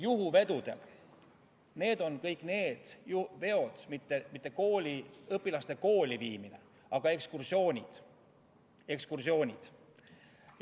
Juhuveod on kõik need veod, mis ei ole õpilaste kooli viimised, vaid on ekskursioonid.